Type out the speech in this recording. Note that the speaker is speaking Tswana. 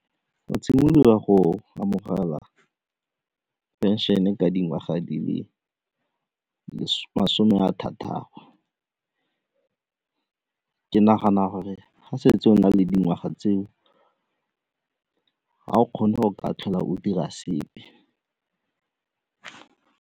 Go simololiwa go amogela pension-e ka dingwaga di le masome a thataro, ke nagana gore ga setse o na le dingwaga tseo ga o kgone go ka tlhola o dira sepe.